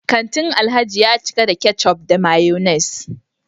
kantin Alhaji ya cika da ketchup da mayonnaise